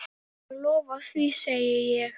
Ég lofa því, segi ég.